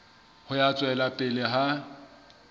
ya ho tswela pele ha